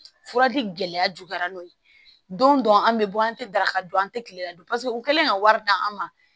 Fura di gɛlɛya juguyara n'o ye don dɔ an bɛ bɔ an tɛ daraka dun an tɛ kilela dun paseke u kɛlen ka wari d'an ma